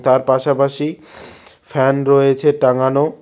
তার পাশাপাশি ফ্যান রয়েছে টাঙানো।